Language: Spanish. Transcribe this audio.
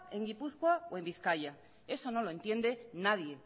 en gipuzkoa o en bizkaia eso no lo entiende nadie